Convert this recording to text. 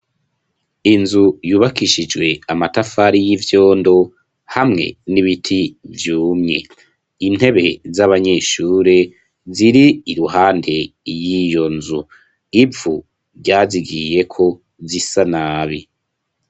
Inzu yubakishijwe amatafari y'ivyondo hamwe n'ibiti vyumye. Intebe z'abanyeshure ziri iruhande y'iyo nzu ivu ryazigiyeko, zisa nabi.